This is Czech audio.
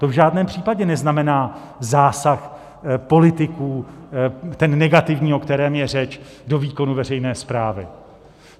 To v žádném případě neznamená zásah politiků, ten negativní, o kterém je řeč, do výkonu veřejné správy.